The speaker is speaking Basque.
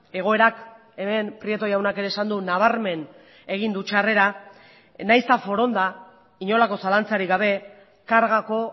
egoerak hemen prieto jaunak ere esan du nabarmen egin du txarrera nahiz eta foronda inolako zalantzarik gabe kargako